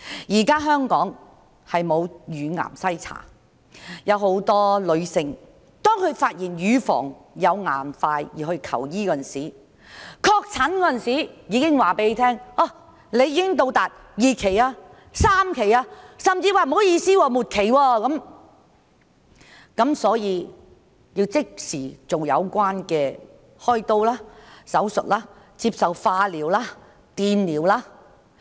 現時香港沒有乳癌篩查，有很多女性是在發現乳房有硬塊時才去求醫，到確診時已是2期或3期，甚至是末期，需要即時開刀做手術、接受化療、電療。